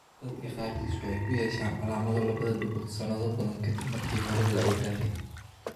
Dadka qaarkiis waxay ku yeeshaan calaamado labada dhegood sanado badan ka dib markii hore la ogaaday.